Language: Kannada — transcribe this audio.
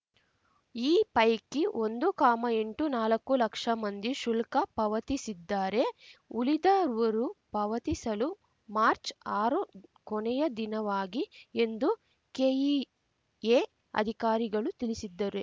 ಈ ಪೈಕಿ ಒಂದು ಕಾಮಎಂಟು ನಾಲಕ್ಕು ಲಕ್ಷ ಮಂದಿ ಶುಲ್ಕ ಪಾವತಿಸಿದ್ದಾರೆ ಉಳಿದವರು ಪಾವತಿಸಲು ಮಾರ್ಚ್ಆರು ಕೊನೆಯ ದಿನವಾಗಿ ಎಂದು ಕೆಇಎ ಅಧಿಕಾರಿಗಳು ತಿಳಿಸಿದ್ದರೆ